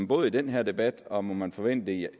både i den her debat og må man forvente